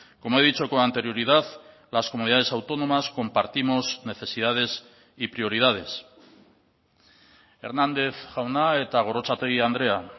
como he dicho con anterioridad las comunidades autónomas compartimos necesidades y prioridades hernández jauna eta gorrotxategi andrea